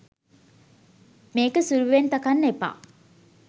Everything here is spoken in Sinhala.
මේක සුළුවෙන් තකන්න එපා .